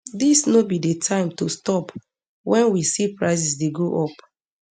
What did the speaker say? dis no be di time to stop wen we see prices dey go up